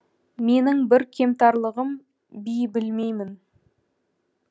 менің бір кемтарлығым би білмеймін